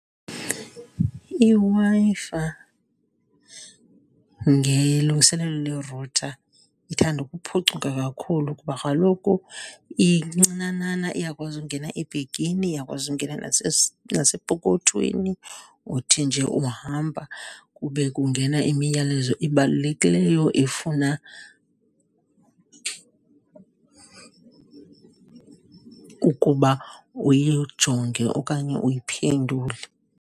IWi-Fi ngelungiselelo le-router ithanda ukuphucuka kakhulu kuba kaloku incinanana, iyakwazi ungena ebhegini, iyakwazi ungena nasepokothweni. Uthi nje uhamba kube kungena imiyalezo ebalulekileyo efuna ukuba uyijonge okanye uyiphendule.